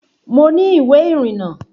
Mo ní ìwé ìrìnnà